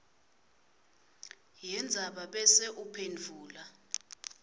yendzaba bese uphendvula